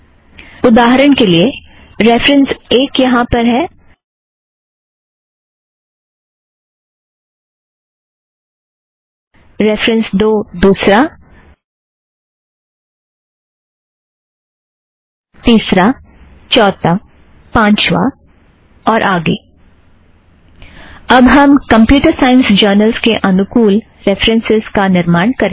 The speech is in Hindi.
उदाहरण के लिए रेफ़रन्स एक यहाँ पर पहला रेफ़रन्स दो दुसरा तीसरा चौथा पाँचवा इत्यादि अब हम कम्प्युटर सायंस जर्नलस के अनुकुल रेफ़रन्सस् का निर्माण करेंगे